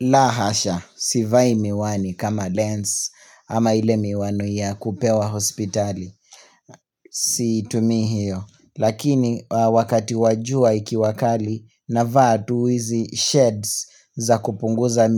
La hasha, sivai miwani kama lens ama ile miwani ya kupewa hospitali, situmii hiyo, lakini wakati wa jua ikiwa kali navaa tu hizi shades za kupunguza